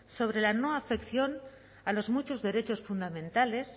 sobre la no afección a los muchos derechos fundamentales